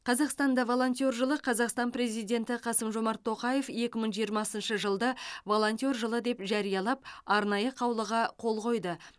қазақстанда волонтер жылы қазақстан президенті қасым жомарт тоқаев екі мың жиырмасыншы жылды волонтер жылы деп жариялап арнайы қаулыға қол қойды